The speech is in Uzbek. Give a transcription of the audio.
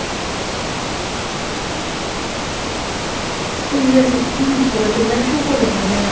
Universitet ilmiy faoliyat bilan shug‘ullanadi.